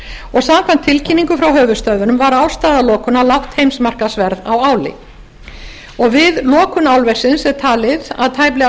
og samkvæmt tilkynningu frá höfuðstöðvunum var ástæða lokunar lágt heimsmarkaðsverð á áli við lokun álversins er talið að tæplega